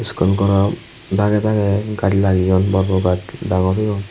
school goro dagey dagey gaj lageyoun bor bor gaj dangor oyoun.